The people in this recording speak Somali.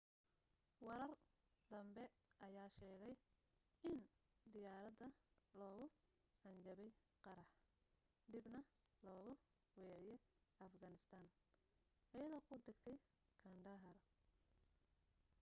warar danbe ayaa sheegay in diyaarada loogu hanjabay qarax dibna loogu weeciye afghanistan aydoo ku dagtay kandahar